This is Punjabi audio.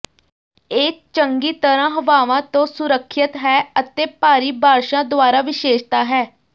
ਇਹ ਚੰਗੀ ਤਰਾਂ ਹਵਾਵਾਂ ਤੋਂ ਸੁਰੱਖਿਅਤ ਹੈ ਅਤੇ ਭਾਰੀ ਬਾਰਸ਼ਾਂ ਦੁਆਰਾ ਵਿਸ਼ੇਸ਼ਤਾ ਹੈ